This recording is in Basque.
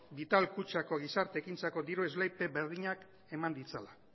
vital kutxako gizarte ekintzako diru esleipen berdinak eman ditzala